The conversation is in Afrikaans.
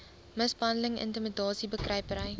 mishandeling intimidasie bekruipery